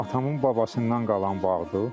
Atamın babasından qalan bağdır.